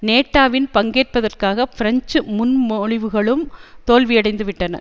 நேட்டேவில் பங்கேற்பதற்கான பிரெஞ்சு முன்மொழிவுகளும் தோல்வியடைந்துவிட்டன